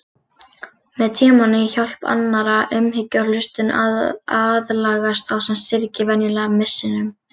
Með tímanum, hjálp annarra, umhyggju og hlustun aðlagast sá sem syrgir venjulega missinum.